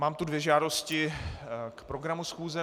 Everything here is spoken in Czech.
Mám tu dvě žádosti k programu schůze.